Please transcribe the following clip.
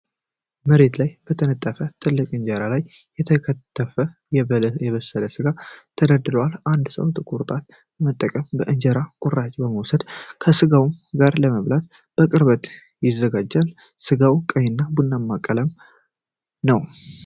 መሬት ላይ በተነጠፈች ትልቅ እንጀራ ላይ የተከተፈ እና የበሰለ ሥጋ ተደርድሯል። አንድ ሰው ጥቁር ጣት በመጠቀም የእንጀራ ቁራጭ በመውሰድ ከስጋው ጋር ለመብላት በቅርበት ይዘጋጃል። ስጋው ቀይ እና ቡናማ ቀለም ነው።